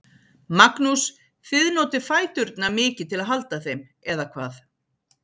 Magnús: Þið notið fæturna mikið til að halda þeim, eða hvað?